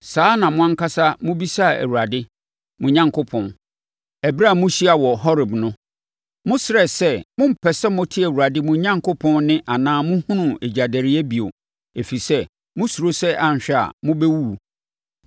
Saa na mo ankasa mobisaa Awurade, mo Onyankopɔn, ɛberɛ a mohyiaa wɔ Horeb no. Mosrɛɛ sɛ mompɛ sɛ mote Awurade, mo Onyankopɔn, nne anaa mohunu egyadɛreɛ bio, ɛfiri sɛ, mosuro sɛ anhwɛ a, mobɛwuwu.